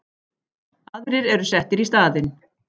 Aðrir eru settir í staðinn.